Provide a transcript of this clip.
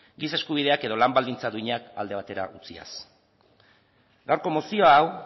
giza eskubideak edo lan baldintza duinak alde batera utziaz gaurko mozio hau